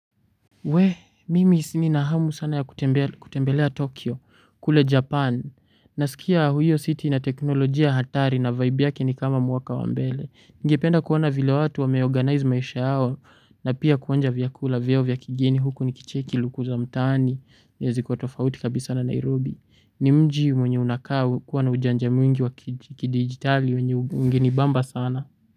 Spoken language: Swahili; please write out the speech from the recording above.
We mimi nina hamu sana ya kutembelea tokyo kule japani nasikia huyo city inateknolojia hatari na vibe yake ni kama mwaka wambele ningependa kuona vile watu wameorganize maisha yao na pia kuonja vyakula vyao vya kigeni huku nikicheki luku za mtaani na ziko tofauti kabisa na nairobi ni mji mwenye unakaa ukiwa na ujanja mwingi wa kidigitali mwenye ungenibamba sana.